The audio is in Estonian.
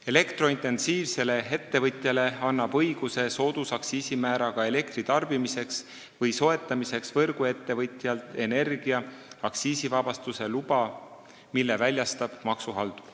Elektrointensiivsele ettevõtjale annab õiguse soodusaktsiisimääraga elektrit tarbida või võrguettevõtjalt soetada energia aktsiisivabastuse luba, mille väljastab maksuhaldur.